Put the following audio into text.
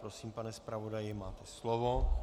Prosím, pane zpravodaji, máte slovo.